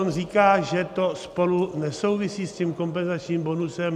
On říká, že to spolu nesouvisí, s tím kompenzačním bonusem.